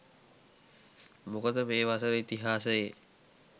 මොකද මේ වසර ඉතිහාසයේ